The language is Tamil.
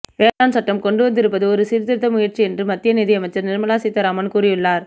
வேளாண் சட்டம் கொண்டுவந்திருப்பது ஒரு சீர்திருத்த முயற்சி என்று மத்திய நிதியமைச்சர் நிர்மலா சீதாராமன் கூறியுள்ளார